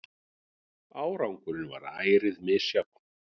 Árangurinn varð ærið misjafn.